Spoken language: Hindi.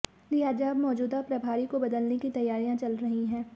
लिहाजा अब मौजूदा प्रभारी को बदलने की तैयारियां चल रही हैं